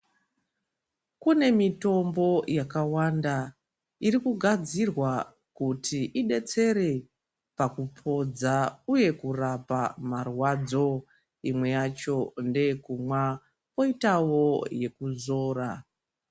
Kuti mitombo yakawanda iri kugadzirwa kuti idetsere pakupodza uye kurapa marwadzo. Imwe yacho ndeye kumwa kwoitawo yekuzora.